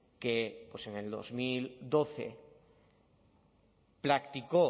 que en dos mil doce practicó